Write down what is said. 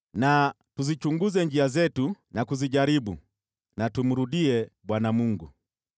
Tuzichunguze njia zetu na kuzijaribu, na tumrudie Bwana Mungu.